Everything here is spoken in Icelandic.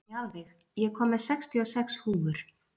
Mjaðveig, ég kom með sextíu og sex húfur!